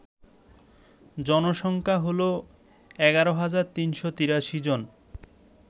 জনসংখ্যা হল ১১৩৮৩ জন